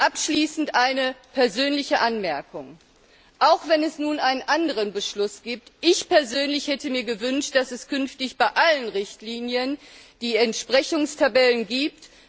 Abschließend noch eine persönliche Anmerkung Auch wenn es nun einen anderen Beschluss gibt ich hätte mir gewünscht, dass es künftig bei allen Richtlinien die Entsprechungstabellen gibt.